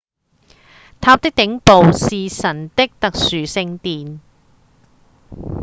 塔的頂部是神的特殊聖殿